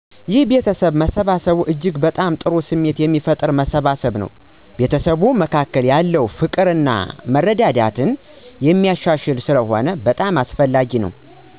ይሕ የቤተሰብ መሰባሰብ እጅግ ጥሩ ስሜት የሚፈጥር መሰባሰብ ነው። በቤተሰቡ መካከል ያለውን ፍቅር እና መረዳዳትን የሚያሻሽል ስለሆነ በጣም አስፈላጊ ነው